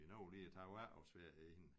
Vi nåede lige at tage vores efterårsferie i den